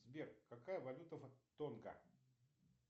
сбер какая валюта в тонго